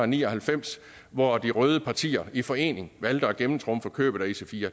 ni og halvfems hvor de røde partier i forening valgte at gennemtrumfe købet af ic4